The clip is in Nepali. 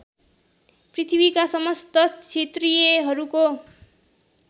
पृथ्वीका समस्त क्षत्रियहरूको